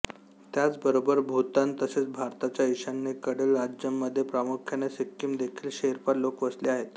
त्याचबरोबर भूतान तसेच भारताच्या ईशान्येकडील राज्यांमध्ये प्रामुख्याने सिक्कीम देखील शेर्पा लोक वसले आहेत